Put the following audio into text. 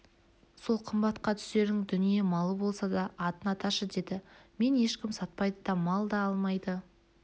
сол қымбатқа түсерің дүние малы болса да атын аташы деді мені ешкім сатпайды да мал да алмайды